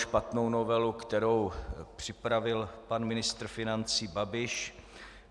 Špatnou novelu, kterou připravil pan ministr financí Babiš.